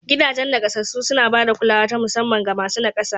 Gidajen naƙasassu suna ba da kulawa ta musamman ga masu naƙasa